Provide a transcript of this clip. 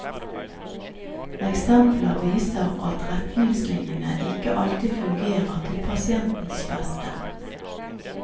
Eksempler viser at retningslinjene ikke alltid fungerer til pasientens beste.